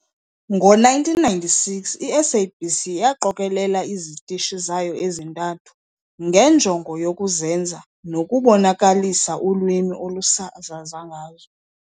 Ngo 1996, i-SABC yaqokelela izitishi zayo ezintathu ngenjongo yokuzenza nokubonakalisa ulwimi olusasaza ngazo.